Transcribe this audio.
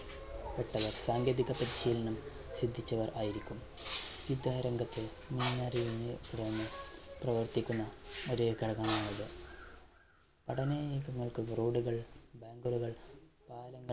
പെട്ടവർ സാങ്കേതിക പരിശീലനം സിദ്ധിച്ചവർ ആയിരിക്കും യുദ്ധരംഗത്തെ മുന്നറിയി തുടർന്ന് പ്രവർത്തിക്കുന്ന ഒരേ ഘടകമാണിത് പടനീക്കങ്ങൾക്ക് road കൾ bunker കൾ, പാലങ്ങൾ